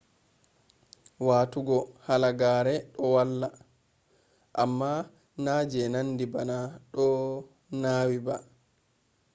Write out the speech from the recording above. watugo halagare do valla amma na je nandi bana do nawi ba